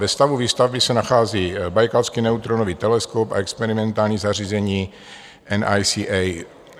Ve stavu výstavby se nachází Bajkalský neutronový teleskop a experimentální zařízení NICA.